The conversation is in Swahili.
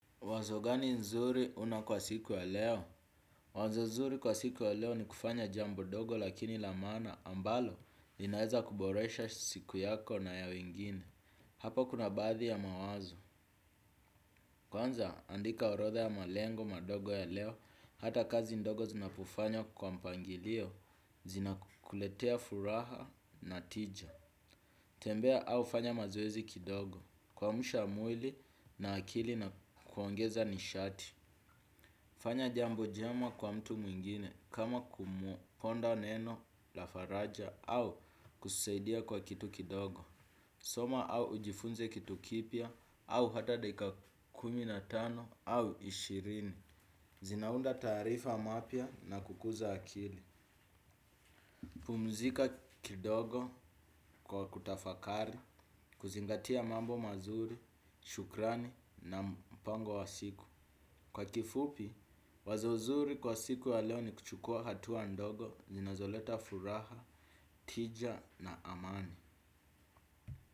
Wazo gani nzuri una kwa siku ya leo? Wazo nzuri kwa siku ya leo ni kufanya jambo ndogo lakini la maana ambalo linaweza kuboresha siku yako na ya wengine. Hapa kuna baadhi ya mawazo. Kwanza andika orodha ya malengo madogo ya leo hata kazi ndogo zinapofanywa kwa mpangilio zinakuletea furaha na ticha. Tembea au fanya mazoezi kidogo kuamsha mwili na akili na kuongeza nishati. Fanya jambo jema kwa mtu mwingine kama kumuponda neno la faraja au kusaidia kwa kitu kidogo. Soma au ujifunze kitu kipya au hata dakika kumi na tano au ishirini. Zinaunda tarifa mapia na kukuza akili. Pumzika kidogo kwa kutafakari, kuzingatia mambo mazuri, shukrani na mpango wa siku. Kwa kifupi, wazo zuri kwa siku ya leo ni kuchukua hatua ndogo zinazoleta furaha, tija na amani.